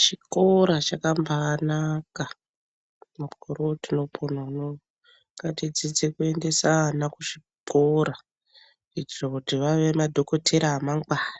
Chikora chakambaanaka mukore wotinopona unou. Ngatidzidze kuendese ana kuchikora kuitire kuti vave madhokodheya amangwana